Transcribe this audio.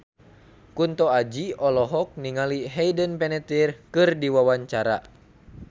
Kunto Aji olohok ningali Hayden Panettiere keur diwawancara